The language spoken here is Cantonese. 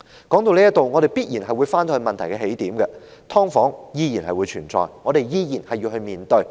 說到這裏，必然會回到問題的起點，也就是"劏房"依然存在，我們依然要面對。